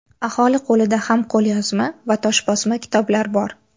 Aholi qo‘lida ham qo‘lyozma va toshbosma kitoblar bor.